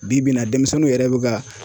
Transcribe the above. Bi bi in na denmisɛnninw yɛrɛ bɛ ka